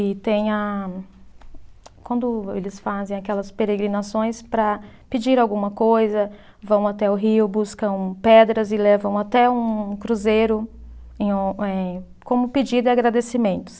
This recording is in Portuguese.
E tem a. Quando eles fazem aquelas peregrinações para pedir alguma coisa, vão até o rio, buscam pedras e levam até um cruzeiro em um, eh como pedido e agradecimentos.